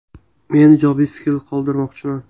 Men ijobiy fikr qoldirmoqchiman.